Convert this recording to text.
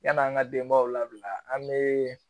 Yan'an ka denbaw labila an bɛ